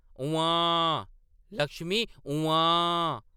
“उम्म्मांऽ, लक्ष्मी, उम्म्मांऽ ।